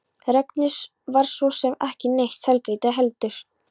Regnið var svo sem ekki neitt sælgæti heldur.